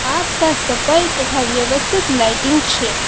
આસપાસ સફાઈ તથા વ્યવસ્થિત લાઇટિંગ છે.